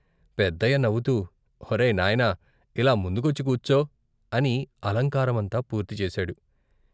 పెద్దయ్య నవ్వుతూ "ఒరేయ్ నాయనా ఇలా ముందుకొచ్చి కూర్చో " అని అలంకారమంతా పూర్తిచేశాడు.